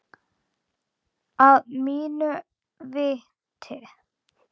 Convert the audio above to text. Að mínu viti.